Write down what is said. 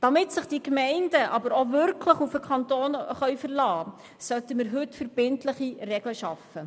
Damit sich die Gemeinden wirklich auf den Kanton verlassen können, sollten wir heute verbindliche Regeln schaffen.